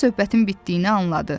Sincab söhbətin bitdiyini anladı.